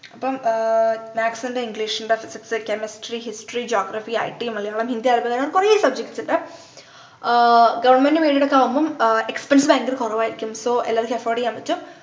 അപ്പം ആഹ് maths ണ്ട് english ണ്ട് physics chemistry history geographyit Malayalam Hindi അതുപോലെ കൊറേ subjects ണ്ട് ആഹ് government ഉം aided ഒക്കെ ആവുമ്പൊ expense ഭയങ്കര കൊറവായിരിക്കും so എല്ലാവരിക്കും afford ചെയ്യാൻപറ്റും